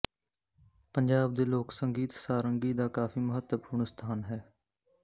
ਪੰਜਾਬ ਦੇ ਲੋਕ ਸੰਗੀਤ ਸਾਰੰਗੀ ਦਾ ਕਾਫ਼ੀ ਮਹੱਤਵਪੂਰਨ ਸਥਾਨ ਹੈ